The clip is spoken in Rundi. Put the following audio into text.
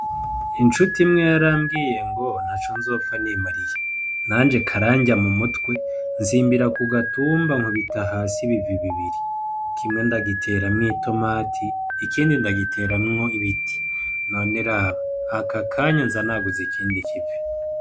Incuti imwe yarambwiye ngo ntaco nzopfa nimariye, nanje karanrya mu mutwe nsimbira ku gatumba nkubita hasi ibivi bibiri, kimwe ndagiteramwo itomati ikindi ndagiteramwo ibiti, none raba aka kanya nza naguze ikindi kivi.